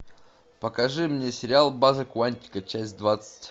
покажи мне сериал база куантико часть двадцать